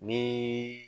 Ni